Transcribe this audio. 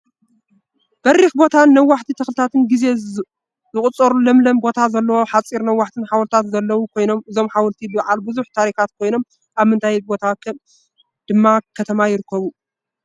በሪክ ቦታን ነዋሕቲ ተክልታት ግዜ ዘቁፀሩን ለምለም ቦታን ዘለዎ ሓፀርትን ነዋሕትን ሓወልትታትን ዘለው ኮይኖም እዞም ሓወልቲ ብዓል ብዙሕ ታሪካት ኮይኖም ኣብ ምንታይ ቦታ ወይ ድማ ከተማ ይርከቡ?